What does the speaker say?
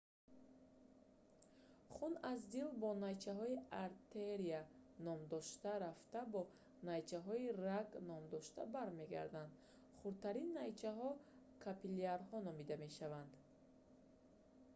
хун аз дил бо найчаҳои артерия ном дошта рафта бо найчаҳои раг ном дошта бармегардад хурдтарин найчаҳо капиллярҳо номида мешаванд